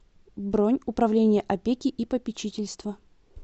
бронь управление опеки и попечительства